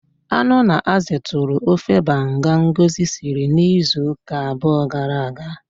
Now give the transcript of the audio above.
Anu na azụ tụrụ ofe banga Ngozi siri izu ụka abụọ gara aga.